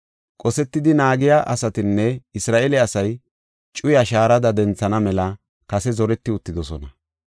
Qosetidi naagiya asatinne Isra7eele asay cuyaa shaarada denthana mela kase zoreti uttidosona.